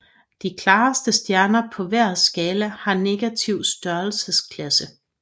De klareste stjerner på hver skala har negativ størrelsesklasse